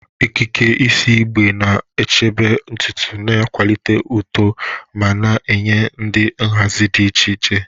Okike isi igbe na-echebe ntutu, na-akwalite uto, ma na-enye ụdị nhazi di iche iche.